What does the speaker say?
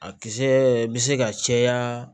A kisɛ bɛ se ka caya